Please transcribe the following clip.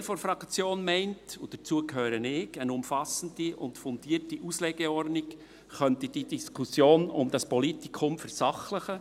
Ein Teil der Fraktion – und dazu gehöre ich – meint, eine umfassende und fundierte Auslegeordnung könnte die Diskussion um das Politikum versachlichen.